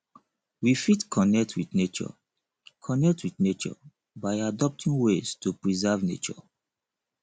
we fit connect with nature connect with nature by adopting ways to preserve nature